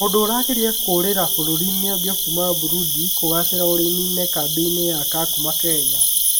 Mũndũ ũrageria kũũrĩra bũrũri ũngĩ kuuma Burundi kũgaacĩra ũrĩmi-inĩ kambĩ-inĩ ya Kakuma, Kenya